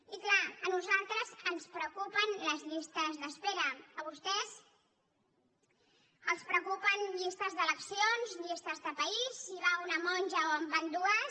i clar a nosaltres ens preocupen les llistes d’espera a vostès els preocupen llistes d’eleccions llistes de país si hi va una monja o n’hi van dues